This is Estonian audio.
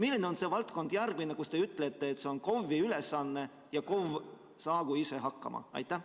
Milline on see järgmine valdkond, kus te ütlete, et see on KOV-i ülesanne ja KOV saagu ise hakkama?